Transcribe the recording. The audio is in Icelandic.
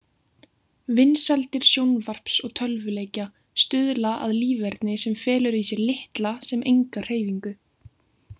Vinsældir sjónvarps og tölvuleikja stuðla að líferni sem felur í sér litla sem enga hreyfingu.